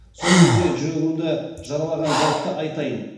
сол кезде жүрегімді жаралаған жәйтті айтайын